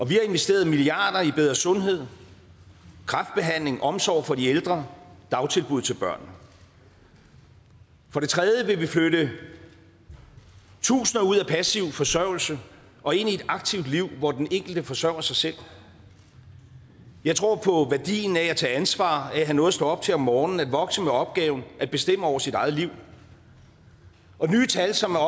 vi har investeret milliarder i bedre sundhed kræftbehandling omsorg for de ældre og dagtilbud til børnene for det tredje vil vi flytte tusinder ud af passiv forsørgelse og ind i et aktivt liv hvor den enkelte forsørger sig selv jeg tror på værdien af at tage ansvar af at have noget at stå op til om morgenen at vokse med opgaven at bestemme over sit eget liv og nye tal som er